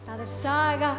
það